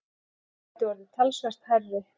Hann gæti orðið talsvert hærri.